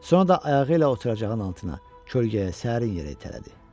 Sonra da ayağı ilə oturacağın altına, kölgəyə, sərin yerə itələdi.